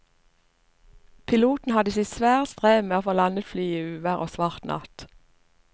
Piloten hadde sitt svare strev med å få landet flyet i uvær og svart natt.